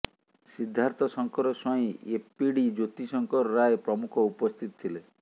Siddharthshankar Swain APD Jyoti Shankar Ray ପ୍ରମୁଖ ଉପସ୍ଥିତ ଥିଲେ